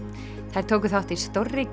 þær tóku þátt í stórri